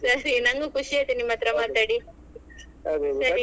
ಸರಿ ನಂಗು ಖುಷಿಯಾಯಿತು ನಿಮ್ಮತ್ರ ಮಾತಾಡಿ